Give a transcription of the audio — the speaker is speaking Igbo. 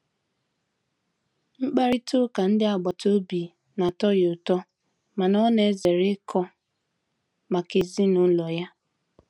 Mkparịta ụka ndị agbata obi na-atọ ya ụtọ mana ọ na-ezere ikọ maka ezinụlọ ya.